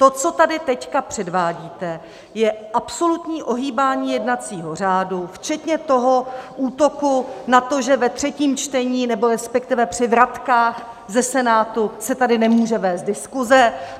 To, co tady teď předvádíte, je absolutní ohýbání jednacího řádu, včetně toho útoku na to, že ve třetím čtení, nebo respektive při vratkách ze Senátu, se tady nemůže vést diskuse.